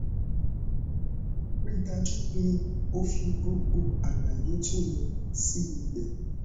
ri dajupe o fi gbogbo alaye to ye si ibe